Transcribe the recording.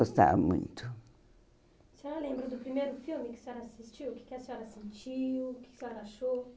Gostava muito. A senhora lembra do primeiro filme que a senhora assistiu, o que que a senhora sentiu, o que a senhora achou